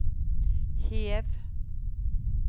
hev